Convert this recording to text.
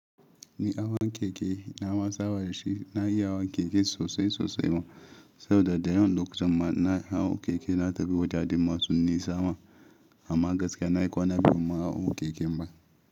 Ni awon keke nama saba dashi, na iya awon keke sosai sosai ma, saboda dayawan lokutan ma na hawo keke na tafi wajajen masu nisa ma amma gaskiya na yi ƙwana biyu ban ma hawo keken ba.